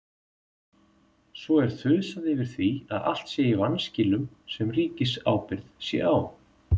Svo er þusað yfir því að allt sé í vanskilum sem ríkisábyrgð sé á.